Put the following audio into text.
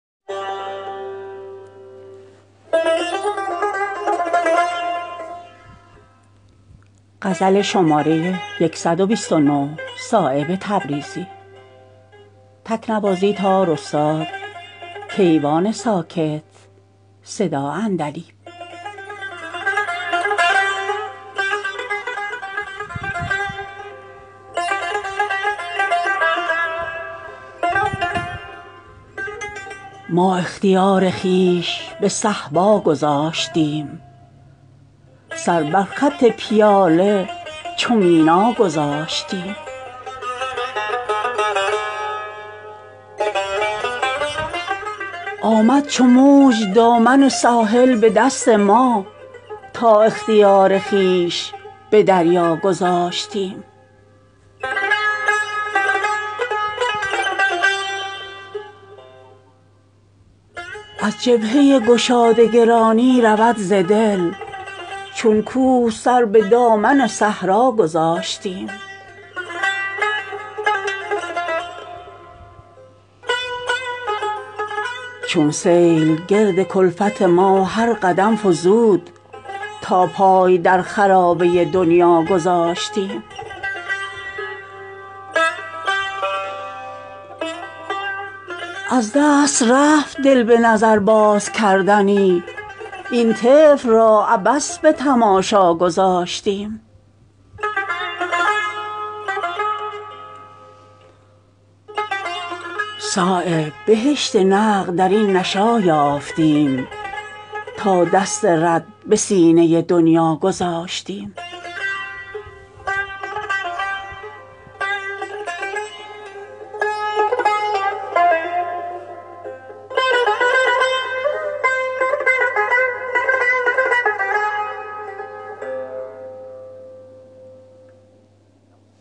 ما اختیار خویش به صهبا گذاشتیم سر بر خط پیاله چو مینا گذاشتیم آمد چو موج دامن ساحل به دست ما تا اختیار خویش به دریا گذاشتیم از جبهه گشاده گرانی رود ز دل چون کوه سر به دامن صحرا گذاشتیم از حرف و صوت زیر و زبر بود حال ما مهر سکوت بر لب گویا گذاشتیم چون سیل گرد کلفت ما هر قدم فزود تا پای در خرابه دنیا گذاشتیم از سر زدن چو شمع شود بیش شوق ما تا روی خود به عالم بالا گذاشتیم از خلق روزگار گرفتیم گوشه ای بر کوه قاف پشت چو عنقا گذاشتیم شد مخمل دو خوابه ز خواب گران ما پهلو اگر به بستر خارا گذاشتیم دیوانه راست سلسله شیرازه جنون دل را به آن دو زلف چلیپا گذاشتیم از دست رفت دل به نظر باز کردنی این طفل را عبث به تماشا گذاشتیم صایب بهشت نقد درین نشأه یافتیم تا دست رد به سینه دنیا گذاشتیم